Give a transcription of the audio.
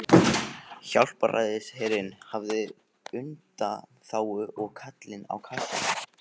Hjálpræðisherinn hafði undanþágu og Kallinn á kassanum.